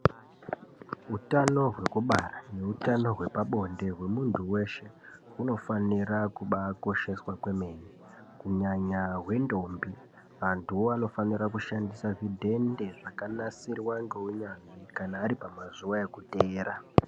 Utano hwekubara neutano hwepabonde hwemuntu weshe hunofanire kubaakosheswa kwemene kunyanya hwendombi. Antuwo anofanire kushandisa zvidhende zvakanasirwa ngeunyanzvi kana ari pamazuwa ekuteera.